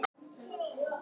Sortnar fyrir augum.